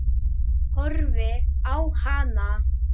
Horfi á hana.